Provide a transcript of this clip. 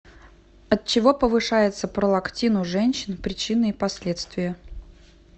от чего повышается пролактин у женщин причины и последствия